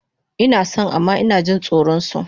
Inason amma inajin tsoron su